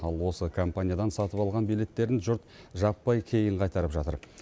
ал осы компаниядан сатып алған билеттерін жұрт жаппай кейін қайтарып жатыр